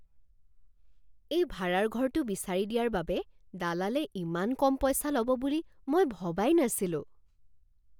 এই ভাড়াৰ ঘৰটো বিচাৰি দিয়াৰ বাবে দালালে ইমান কম পইচা ল'ব বুলি মই ভবাই নাছিলোঁ!